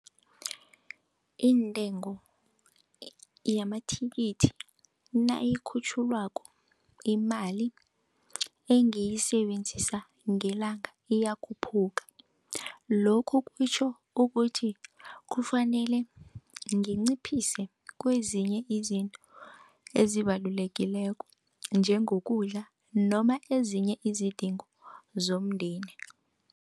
Intengo yamathikithi nayikhutjhulwako imali engiyisebenzisa ngelanga iyakhuphuka. Lokhu kutjho ukuthi kufanele nginciphise kwezinye izinto ezibalulekileko njengokudla noma ezinye izidingo zomndeni.